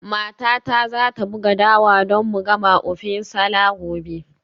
Matata za ta buga dawa don mu gama ofe nsala gobe.